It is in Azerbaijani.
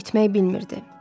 Yol bitmək bilmirdi.